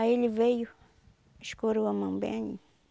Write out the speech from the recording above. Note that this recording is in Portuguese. Aí ele veio, escorou a mão bem aí.